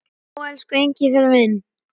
Já, elsku Engifer minn.